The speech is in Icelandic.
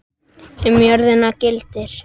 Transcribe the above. Um jörðina gildir